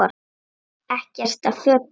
Ekkert af fötum